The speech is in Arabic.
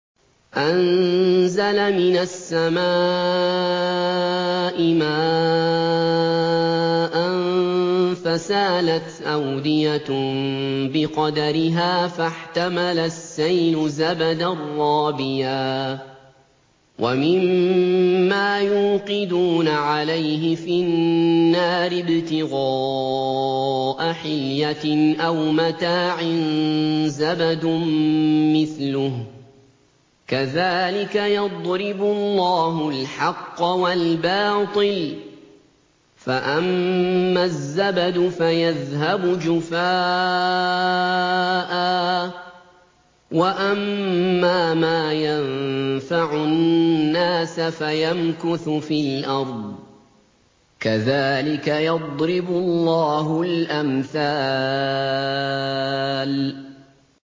أَنزَلَ مِنَ السَّمَاءِ مَاءً فَسَالَتْ أَوْدِيَةٌ بِقَدَرِهَا فَاحْتَمَلَ السَّيْلُ زَبَدًا رَّابِيًا ۚ وَمِمَّا يُوقِدُونَ عَلَيْهِ فِي النَّارِ ابْتِغَاءَ حِلْيَةٍ أَوْ مَتَاعٍ زَبَدٌ مِّثْلُهُ ۚ كَذَٰلِكَ يَضْرِبُ اللَّهُ الْحَقَّ وَالْبَاطِلَ ۚ فَأَمَّا الزَّبَدُ فَيَذْهَبُ جُفَاءً ۖ وَأَمَّا مَا يَنفَعُ النَّاسَ فَيَمْكُثُ فِي الْأَرْضِ ۚ كَذَٰلِكَ يَضْرِبُ اللَّهُ الْأَمْثَالَ